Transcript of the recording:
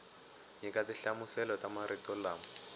nyika tinhlamuselo ta marito lama